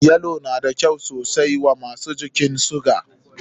Yalo na da kyau sosai wa masu jinyan suga.